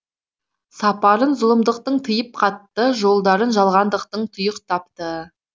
сапарын зұлымдықтың тиып қатты жолдарын жалғандықтың тұйықтапты